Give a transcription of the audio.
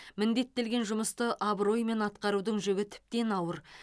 міндеттелген жұмысты абыроймен атқарудың жүгі тіптен ауыр